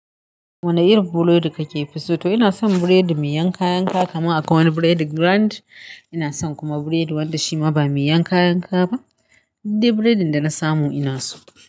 Wane irin burodi kake fi so? To ina son burodi mai yanka-yanka, kaman akwai wani burodi grind. Ina son kuma burodi wanda shima ba miyan kayan ka ba. Dudde burodin da na samu ina so.